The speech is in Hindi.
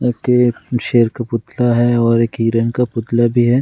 की एक शेर का पुतला है और एक हिरण का पुतला भी है ।